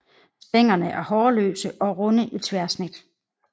Stænglerne er hårløse og runde i tværsnit